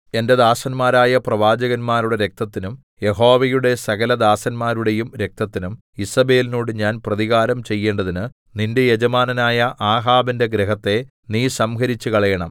എന്റെ ദാസന്മാരായ പ്രവാചകന്മാരുടെ രക്തത്തിനും യഹോവയുടെ സകലദാസന്മാരുടെയും രക്തത്തിനും ഈസേബെലിനോട് ഞാൻ പ്രതികാരം ചെയ്യേണ്ടതിന് നിന്റെ യജമാനനായ ആഹാബിന്റെ ഗൃഹത്തെ നീ സംഹരിച്ചുകളയണം